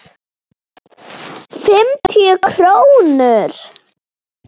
Fimmtíu krónur?